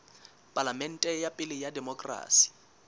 palamente ya pele ya demokerasi